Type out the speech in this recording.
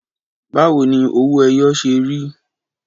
Báwo ni owó ẹyọ ṣe rí?